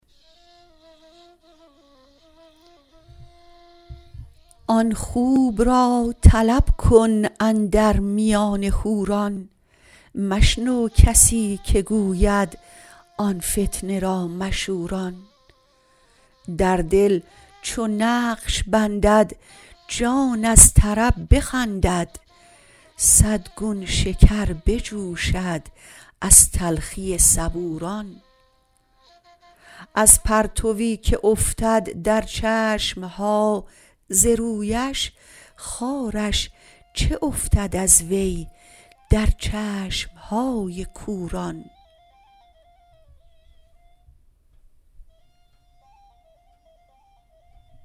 آن خوب را طلب کن اندر میان حوران مشنو کسی که گوید آن فتنه را مشوران در دل چو نقش بندد جان از طرب بخندد صد گون شکر بجوشد از تلخی صبوران از پرتوی که افتد در چشم ها ز رویش خارش چه افتد از وی در چشم های کوران